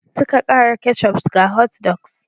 Suka kara kecup ga hotdogs.